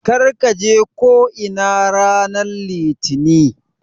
Kar ki je ko'ina ranar litini!